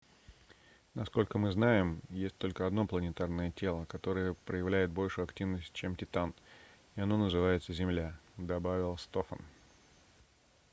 насколько мы знаем есть только одно планетарное тело которое проявляет большую активность чем титан и оно называется земля - добавил стофан